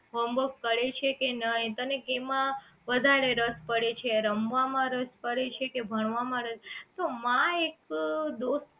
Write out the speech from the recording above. કરે છે કે નહી હોમ વર્ક તને કેમા વધારે રસ પડે છે રમવા માં રસ પડે છે કે ભણવા માં પડે છે તો માં એક દોસ્ત